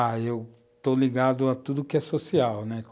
Ah, eu estou ligado a tudo que é social, né?